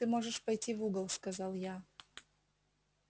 ты можешь пойти в угол сказал я